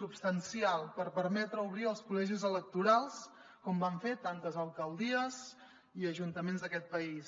substancial per permetre obrir els col·legis electorals com van fer tantes alcaldies i ajuntaments d’aquest país